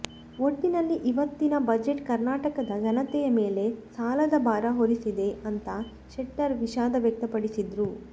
ಒಟ್ಟಿನಲ್ಲಿ ಇವತ್ತಿನ ಬಜೆಟ್ ಕರ್ನಾಟಕದ ಜನತೆಯ ಮೇಲೆ ಸಾಲದ ಭಾರ ಹೊರಿಸಿದೆ ಅಂತಾ ಶೆಟ್ಟರ್ ವಿಷಾದ ವ್ಯಕ್ತಪಡಿಸಿದ್ರು